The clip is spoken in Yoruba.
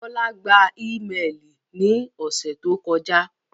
Bọla gbà imẹ́ẹlí ní òṣè tó kọja.